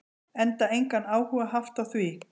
Enda engan áhuga haft á því.